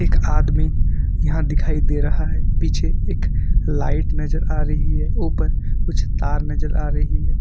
एक आदमी यहां दिखाई दे रहा है पीछे एक लाइट नजर आ रही है ऊपर कुछ तार नजर आ रही है।